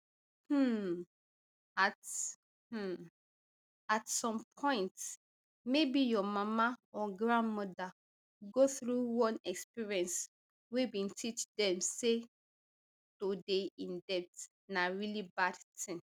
um at um at some point maybe your mama or grandmother go through one experience wey bin teach dem say to dey in debt na really bad tin